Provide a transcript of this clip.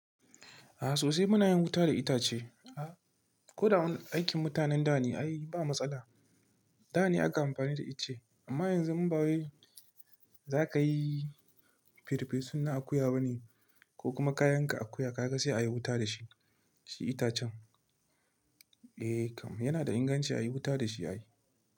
A sosai muna yin wuta da itace. Ko da wani aikin mutanen da ne, ai ba matsala. Da ne aka amfani da ice amma yanzu in ba waye za ka yi, firifisin na akuya ba ne ko kuma kayan ka akuya ka ga sai a yi wuta da shi, shi itacen. Eh kam, yana da inganci a yi wuta da shi ayi.